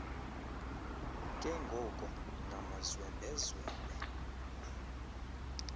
ke ngoko ngamazwembezwembe